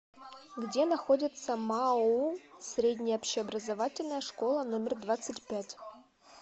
где находится маоу средняя общеобразовательная школа номер двадцать пять